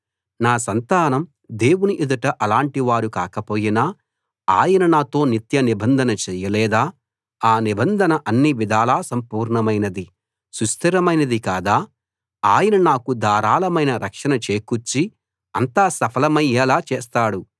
నా సంతానం దేవుని ఎదుట అలాటి వారు కాకపోయినా ఆయన నాతో నిత్య నిబంధన చేయలేదా ఆ నిబంధన అన్నివిధాలా సంపూర్ణమైనది సుస్థిరమైనది కాదా ఆయన నాకు ధారాళమైన రక్షణ చేకూర్చి అంతా సఫలమయ్యేలా చేస్తాడు